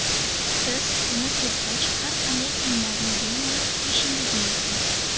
Siz uni sepgach, har qanday kiyimlarni bemalol kiyishingiz mumkin.